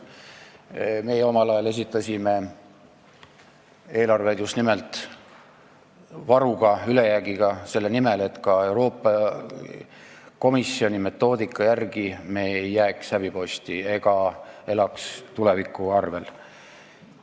Meie omal ajal esitasime eelarve just nimelt varuga, ülejäägiga, selle nimel, et me ka Euroopa Komisjoni metoodika järgi hinnatuna ei jääks häbiposti ega elaks tuleviku arvel.